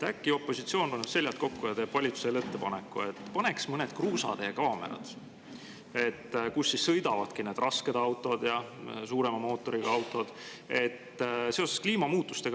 Äkki opositsioon paneb seljad kokku ja teeb valitsusele ettepaneku, et paneks mõned kaamerad kruusateedele, kus sõidavad need rasked ja suurema mootoriga autod.